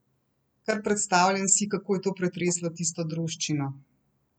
Kar predstavljam si, kako je to pretreslo tisto druščino!